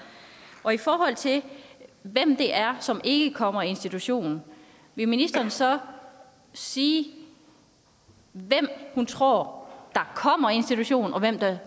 og i forhold til hvem det er som ikke kommer i institution vil ministeren så sige hvem hun tror der kommer i en institution og hvem der